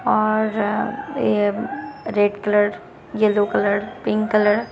और ये red colour yellow colour pink colour --